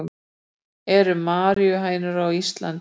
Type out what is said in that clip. eru maríuhænur á íslandi